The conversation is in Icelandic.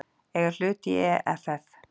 eiga hlut í EFF.